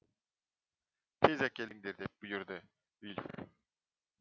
тез әкеліңдер деп бұйырды вильф